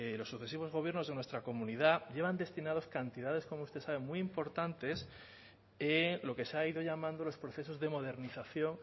los sucesivos gobiernos de nuestra comunidad llevan destinadas cantidades como usted sabe muy importantes lo que se ha ido llamando los procesos de modernización